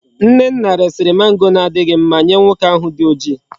Nnenna resiri mango na adighi mma Nye nwoke ahu di oji